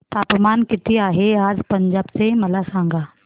तापमान किती आहे आज पंजाब चे मला सांगा